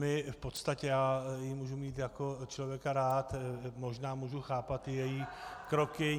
My v podstatě, já ji můžu mít jako člověka rád, možná můžu chápat i její kroky.